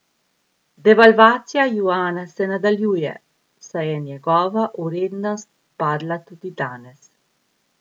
Devalvacija juana se nadaljuje, saj je njegova vrednost padla tudi danes.